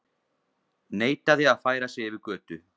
Neitaði að færa sig yfir götu